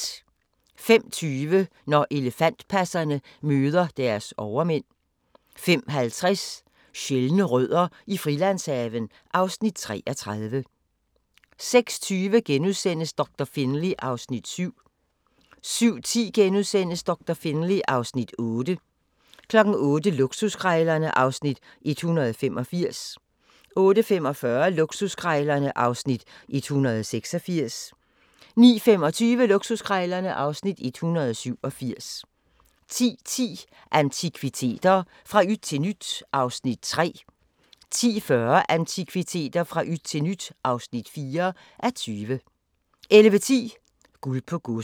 05:20: Når elefantpasserne møder deres overmænd 05:50: Sjældne rødder i Frilandshaven (Afs. 33) 06:20: Doktor Finlay (Afs. 7)* 07:10: Doktor Finlay (Afs. 8)* 08:00: Luksuskrejlerne (Afs. 185) 08:45: Luksuskrejlerne (Afs. 186) 09:25: Luksuskrejlerne (Afs. 187) 10:10: Antikviteter – fra yt til nyt (3:20) 10:40: Antikviteter – fra yt til nyt (4:20) 11:10: Guld på Godset